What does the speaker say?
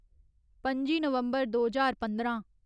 पं'जी नवम्बर दो ज्हार पंदरां